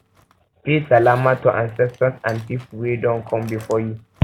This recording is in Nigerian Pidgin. pay pay salama to ancestors and pipo wey done come before you